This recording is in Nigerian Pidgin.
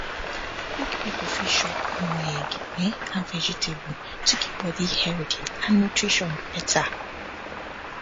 big people fit shop more egg um and vegetable to keep body healthy and nutrition better